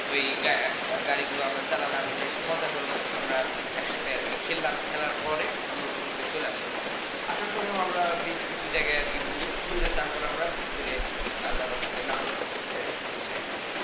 ওই গাড়িগুলো আমরা চালালাম বেশ মজা হলো আমরা একসাথে আর কি খেললাম খেলার পরে আমরা ওখান থেকে চলে আসলাম আসার সময়ও আমরা বেশ কিছু জায়গায় ঘুরি ঘুরে তারপর আমরা আস্তেধীরে আল্লাহর রহমতে নাটোর পৌছায় আর কি